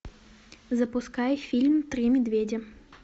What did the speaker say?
запускай фильм три медведя